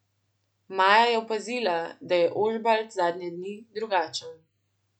Maja je opazila, da je Ožbalt zadnje dni drugačen.